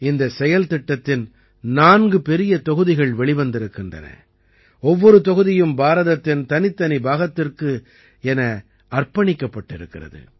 இந்தச் செயல்திட்டத்தின் நான்கு பெரிய தொகுதிகள் வெளிவந்திருக்கின்றன ஒவ்வொரு தொகுதியும் பாரதத்தின் தனித்தனி பாகத்திற்கு என அர்ப்பணிக்கப்பட்டிருக்கிறது